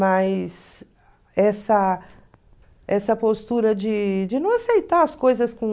Mas essa essa postura de de não aceitar as coisas com...